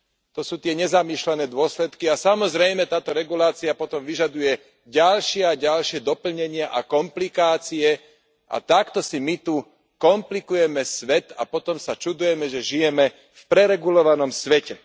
To sú tie nezamýšľané dôsledky a, samozrejme, táto regulácia potom vyžaduje ďalšie a ďalšie doplnenia a komplikácie a takto si my tu komplikujeme svet a potom sa čudujeme, že žijeme v preregulovanom svete.